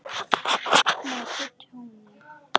Meta tjónið.